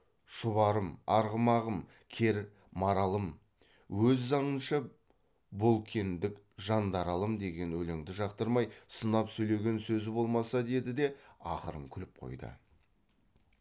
шұбарым арғымағым кер маралым өз заңынша болкендік жандаралым деген өлеңді жақтырмай сынап сөйлеген сөзі болмаса деді де ақырын күліп қойды